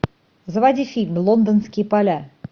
заводи фильм лондонские поля